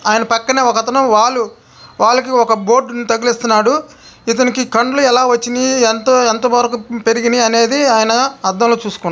ఆయన పక్కన ఒకతను వాల్ వాల్ కి ఒక బోర్డ్ ని తగిలిస్తున్నాడు. ఇతనికి కళ్ళు ఎలా వచ్చినాయి. ఎంత వరకు పెరిగినవి ఆయన అద్దంలో చూసుకుంటూ--